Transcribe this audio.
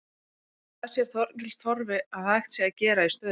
En hvað sér Þorgils Torfi að hægt sé að gera í stöðunni?